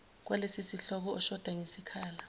kwalesosihloko oshoda ngesikhala